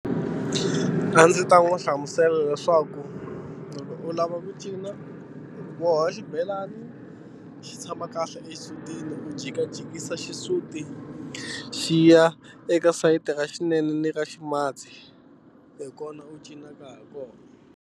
A ndzi ta n'wi hlamusela leswaku loko u lava ku cina wona xibelani xi tshama kahle exisutini ku jikajikisa xisuti xi ya eka sayiti ra xinene ni ra ximatsi hi kona u cinaka hi kona.